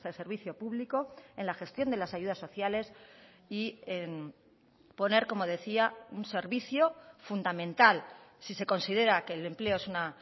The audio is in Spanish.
servicio público en la gestión de las ayudas sociales y en poner como decía un servicio fundamental si se considera que el empleo es una